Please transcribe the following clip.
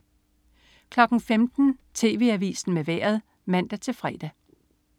15.00 TV Avisen med Vejret (man-fre)